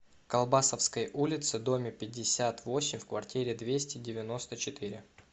колбасовской улице доме пятьдесят восемь в квартире двести девяносто четыре